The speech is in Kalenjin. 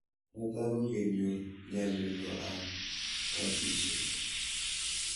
Netai ko kenyor ngalalindo ab batishet